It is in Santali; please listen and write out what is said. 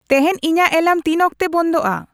ᱛᱮᱦᱮᱧ ᱤᱧᱟᱹᱜ ᱮᱞᱟᱨᱢ ᱛᱤᱱᱚᱠᱛᱮ ᱵᱚᱱᱫᱚᱜᱼᱟ ᱾